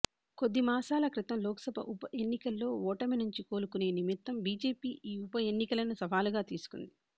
కొద్ది మాసాల క్రితం లోక్సభ ఉప ఎన్నికల్లో ఓటమినుంచి కోలుకునే నిమిత్తం బిజెపి ఈ ఉప ఎన్నికలను సవాలుగా తీసుకుంది